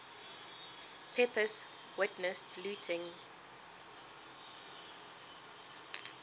pepys witnessed looting